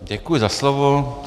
Děkuji za slovo.